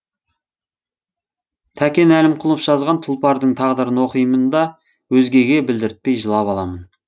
тәкен әлімқұлов жазған тұлпардың тағдырын оқимын да өзгеге білдіртпей жылап аламын